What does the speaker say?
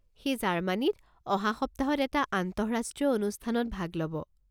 সি জাৰ্মানিত অহা সপ্তাহত এটা আন্তঃৰাষ্ট্ৰীয় অনুষ্ঠানত ভাগ ল'ব।